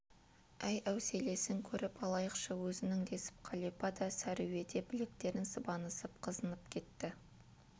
әй әуселесін көріп алайықшы өзінің десіп қалипа да сәруе де білектерін сыбанысып қызынып кетті